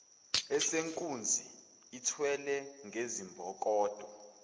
esenkunzi ithelwe ngezibonkolo